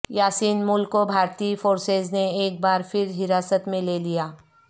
یاسین ملک کو بھارتی فورسز نے ایک بار پھرحراست میں لے لیا